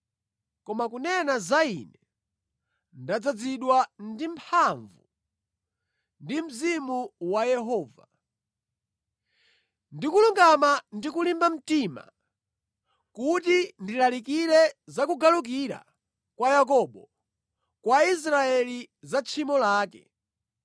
Koma kunena za ine, ndadzazidwa ndi mphamvu, ndi Mzimu wa Yehova, ndi kulungama, ndi kulimba mtima, kuti ndilalikire za kugalukira kwa Yakobo, kwa Israeli za tchimo lake.